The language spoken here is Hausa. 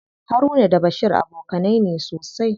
Haruna da Bashir abokanai ne sosai.